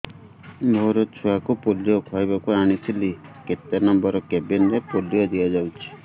ମୋର ଛୁଆକୁ ପୋଲିଓ ଖୁଆଇବାକୁ ଆଣିଥିଲି କେତେ ନମ୍ବର କେବିନ ରେ ପୋଲିଓ ଦିଆଯାଉଛି